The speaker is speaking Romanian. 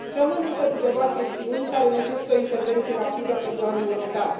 Rămân însă câteva chestiuni care necesită o intervenție rapidă pe plan european.